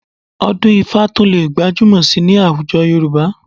Ọdún-ifá tún lè gbajúmọ̀ síi ní àwùjọ Yorùbá